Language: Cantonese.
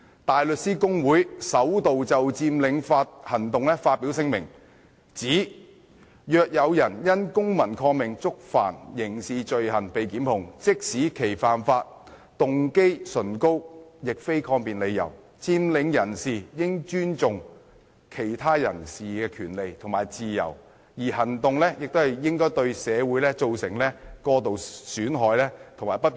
大律師公會首度就佔領行動發表聲明，指若有人因公民抗命觸犯刑事罪行被檢控，即使其犯法動機崇高，亦非抗辯理由，佔領人士應尊重其他人士的權利和自由，而行動亦不應對社會造成過度損害及不便。